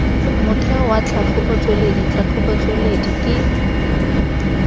motheo wa tlhatlhobotsweledi tlhatlhobotsweledi ke